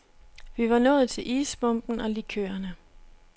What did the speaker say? Vi var nået til isbomben og likørerne.